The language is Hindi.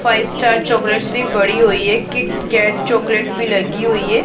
फाइव स्टार चॉकलेट्स भी पड़ी हुई है किट कैट चॉकलेट भी लगी हुई हैं।